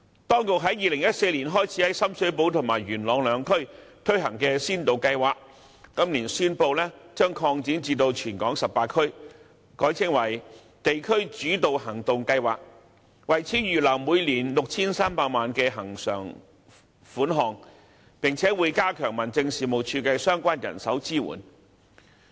當局在2014年開始在深水埗和元朗兩區推行的先導計劃，今年宣布將擴展至全港18區，改稱為地區主導行動計劃，為此預留每年 6,300 萬元的恆常款項，並會加強民政事務處的相關人手支援。